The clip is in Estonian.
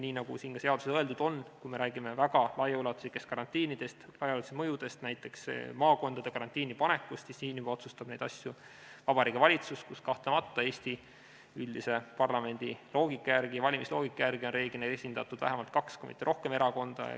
Nii nagu siin seaduses öeldud on, kui me räägime väga laiaulatuslikest karantiinidest, laiaulatuslikest mõjudest, näiteks maakondade karantiini panekust, siis neid asju otsustab juba Vabariigi Valitsus, kus kahtlemata Eesti üldise valimisloogika järgi on reeglina esindatud vähemalt kaks kui mitte rohkem erakonda.